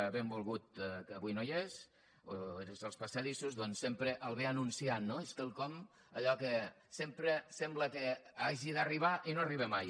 benvolgut que avui no hi és o és als passadissos doncs sempre l’anuncia no és quelcom allò que sempre sembla que hagi d’arribar i no arriba mai